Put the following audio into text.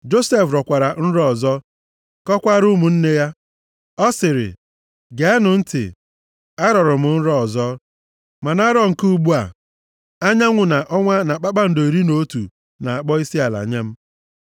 Josef rọkwara nrọ ọzọ, kọkwara ụmụnne ya. Ọ sịrị, “Geenụ ntị, arọrọ m nrọ ọzọ. Ma na nrọ nke ugbu a, anyanwụ na ọnwa na kpakpando iri na otu na-akpọ isiala nye m.”